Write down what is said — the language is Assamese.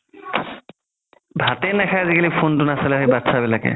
ভাতে নাখাই আজিকালি phone তো নাচালে বাতচা বিলাকে